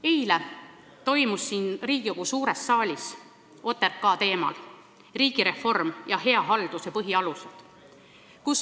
Eile toimus siin Riigikogu suures saalis OTRK arutelu teemal "Riigireform ja hea halduse põhialused".